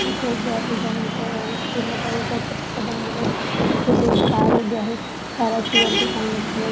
तिथे एक गॅरेज आहे त्या गॅरेज पूर्णपणे पत्र्याच बनलेल दिसतय तेथे एक कार उभी आहे काराची वरती टांगण्यात आलेली --